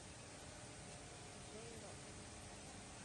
джей рок